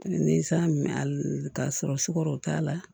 Ni n san mɛn a la k'a sɔrɔ sukaro t'a la